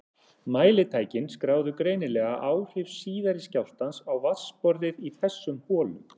Mælitækin skráðu greinilega áhrif síðari skjálftans á vatnsborðið í þessum holum.